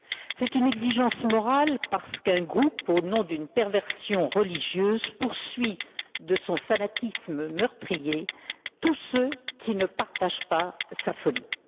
C'est une exigence morale parce qu'un groupe, au nom d'une perversion religieuse, poursuit de son fanatisme meurtrier tous ceux qui ne partagent pas sa folie.